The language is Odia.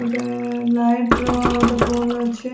ଗୋଟେ ଲାଇଟ ର ଗୋଟେ ବଲ ଅଛି